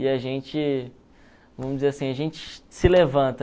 E a gente, vamos dizer assim, a gente se levanta.